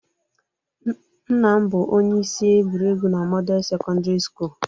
Nna m bụ onye isi egwuregwu na Model Sekọndrị Sukulu